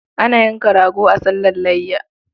Ana yanka rago a sallar layya.